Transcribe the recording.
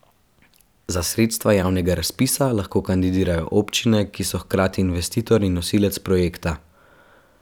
Za sredstva javnega razpisa lahko kandidirajo občine, ki so hkrati investitor in nosilec projekta.